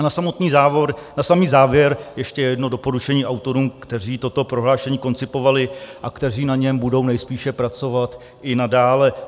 A na samý závěr ještě jedno doporučení autorům, kteří toto prohlášení koncipovali a kteří na něm budou nejspíše pracovat i nadále.